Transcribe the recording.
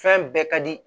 Fɛn bɛɛ ka di